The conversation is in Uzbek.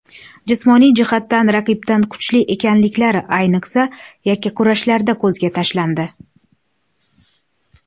Jismoniy jihatdan raqibdan kuchli ekanliklari ayniqsa yakkakurashlarda ko‘zga tashlandi.